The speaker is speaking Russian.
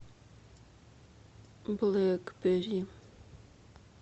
блэкберри